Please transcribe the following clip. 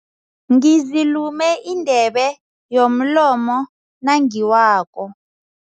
Ngizilume indebe yomlomo nangiwako.